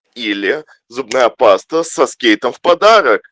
или зубная паста со скейтом в подарок